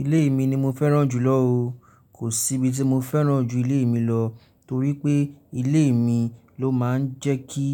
Ilé mi ni mo fẹ́ràn jùlọ o. Kò sí ibi tí mo fẹ́ràn ju ilé mi lọ, torí pé ilé mi ló máa ń jẹ́ kí